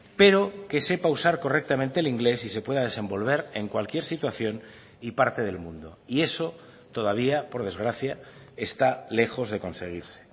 pero que sepa usar correctamente el inglés y se pueda desenvolver en cualquier situación y parte del mundo y eso todavía por desgracia está lejos de conseguirse